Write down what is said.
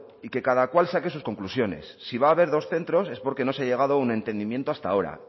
y que cada cual saque sus conclusiones si va a haber dos centros es porque no se ha llegado a un entendimiento hasta ahora